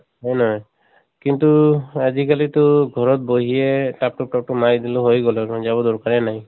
হয় নহয়? কিন্তু আজি কালি টো ঘৰত বহিয়ে তাপ তুপ তাপ তুপ মাৰি দিলো হৈ গʼল, যাব দৰ্কাৰে নাই।